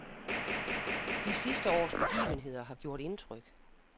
De sidste års begivenheder har gjort indtryk.